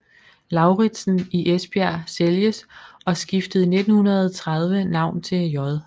Lauritzen i Esbjerg sælges og skiftede i 1930 navn til J